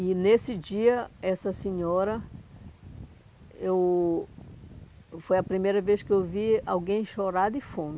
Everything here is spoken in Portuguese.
E nesse dia, essa senhora, eu foi a primeira vez que eu vi alguém chorar de fome.